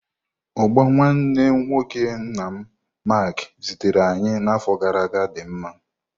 Ugba nwanne nwoke nna m Mark zitere anyi na afo gara aga di mma.